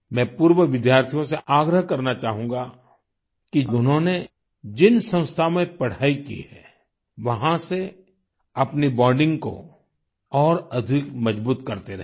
मैं पूर्व विद्यार्थियों से आग्रह करना चाहूँगा कि उन्होंने जिन संस्था में पढाई की है वहाँ से अपनी बॉन्डिंग को और अधिक मजबूत करते रहें